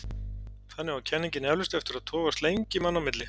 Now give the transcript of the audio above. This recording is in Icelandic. Þannig á kenningin eflaust eftir að togast lengi manna á milli.